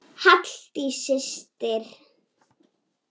Halldís systir.